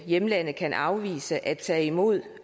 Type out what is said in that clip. hjemlandet kan afvise at tage imod